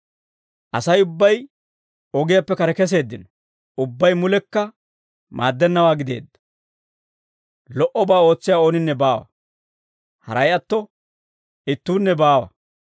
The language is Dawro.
Asay ubbay ogiyaappe kare keseeddino; ubbay mulekka maaddennawaa gideedda. Lo"obaa ootsiyaa ooninne baawa; haray atto ittuunne baawa.